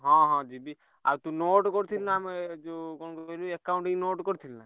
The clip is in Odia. ହଁ ହଁ ଯିବି ଆଉ ତୁ note କରିଚୁ ନା ଏ ଯୋଉ କଣ କହିଲୁ accounting note କରିଚୁ ନା?